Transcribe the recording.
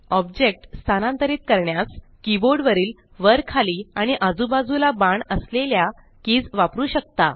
object स्तानांतरित करण्यास keyboard वरील वर खाली आणि आजू बाजूला बाण असलेल्या कीज वापरू शकता